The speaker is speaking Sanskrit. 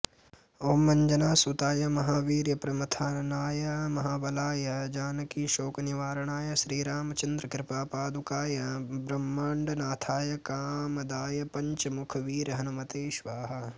ॐ अञ्जनासुताय महावीर्यप्रमथनाय महाबलाय जानकीशोकनिवारणाय श्रीरामचन्द्रकृपापादुकाय ब्रह्माण्डनाथाय कामदाय पञ्चमुखवीरहनुमते स्वाहा